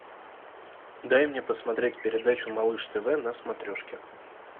дай мне посмотреть передачу малыш тв на смотрешке